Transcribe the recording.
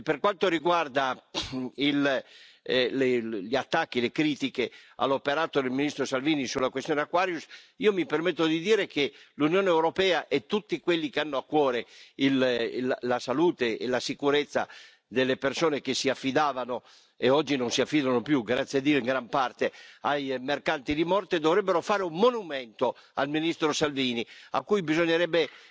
E per quanto riguarda gli attacchi, le critiche all'operato del ministro Salvini sulla questione Aquarius, io mi permetto di dire che l'Unione europea e tutti quelli che hanno a cuore la salute e la sicurezza delle persone che si affidavano e oggi non si affidano più, grazie a Dio, in gran parte ai mercanti di morte, dovrebbero fare un monumento al ministro Salvini a cui bisognerebbe